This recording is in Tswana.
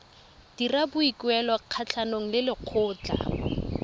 dira boikuelo kgatlhanong le lekgotlha